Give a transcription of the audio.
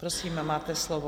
Prosím, máte slovo.